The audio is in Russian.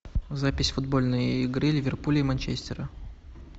запись футбольной игры ливерпуль и манчестера